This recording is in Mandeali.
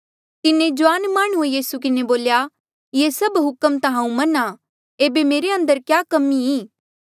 तिन्हें जुआने माह्णुंऐ यीसू किन्हें बोल्या ये सभ हुक्म ता हांऊँ मन्हां एेबे मेरे अंदर क्या कमी ई